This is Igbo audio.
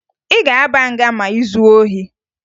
Ị ga-aba nga ma ị zuo ohi?